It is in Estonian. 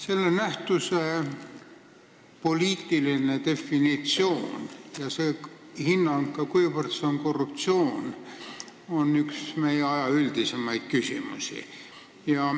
Selle nähtuse poliitiline definitsioon ja hinnang, kuivõrd see on korruptsioon, on üks meie aja üldisemaid küsimusi.